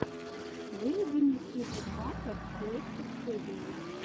выведи мне список батлов рексет студио